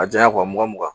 A janya mugan mugan